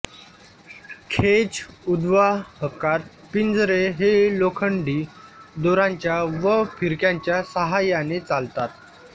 खेच उद्वाहकात पिंजरे हे लोखंडी दोरांच्या व फिरक्यांच्या सहाय्याने चालतात